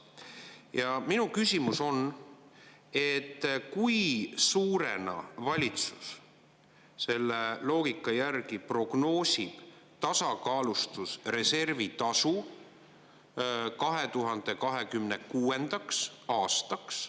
Ja minu küsimus on, et kui suurena valitsus selle loogika järgi prognoosib tasakaalustusreservi tasu 2026. aastaks.